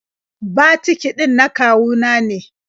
Batiki ɗin na kawu na ne.